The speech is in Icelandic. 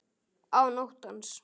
Án óttans.